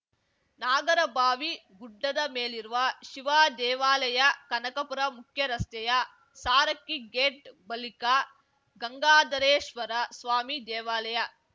ನಾಗರಭಾವಿ ಗುಡ್ಡದ ಮೇಲಿರುವ ಶಿವದೇವಾಲಯ ಕನಕಪುರ ಮುಖ್ಯರಸ್ತೆಯ ಸಾರಕ್ಕಿ ಗೇಟ್ ಬಳಿಕ ಗಂಗಾಧರೇಶ್ವರ ಸ್ವಾಮಿ ದೇವಾಲಯ